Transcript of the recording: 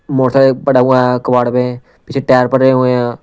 Motorcycle पड़ा हुआ हैकबाड़ पे पीछे टायर पड़े हुए हैं।